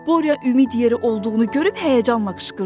Borya ümid yeri olduğunu görüb həyəcanla qışqırdı.